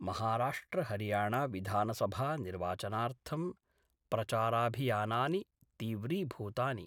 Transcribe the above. महाराष्ट्रहरियाणाविधानसभानिर्वाचनार्थं प्रचाराभियानानि तीव्रीभूतानि।